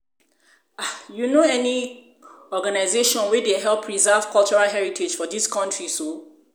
you know any organization wey dey help preserve cultural heritage for dis country so?